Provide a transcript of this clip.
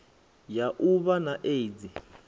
ya u vha na aids